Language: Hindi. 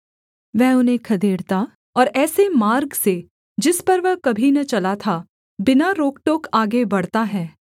वह उन्हें खदेड़ता और ऐसे मार्ग से जिस पर वह कभी न चला था बिना रोकटोक आगे बढ़ता है